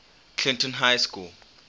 clinton high school